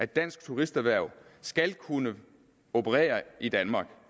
danske turisterhverv skal kunne operere i danmark